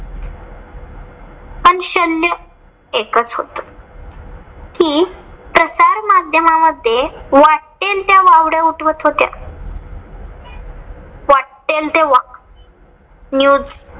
पण शल्य एकच होतं. कि प्रसार माध्यामामध्ये वाट्टेल त्या वावड्या उठवत होत्या. वाट्टेल त्या news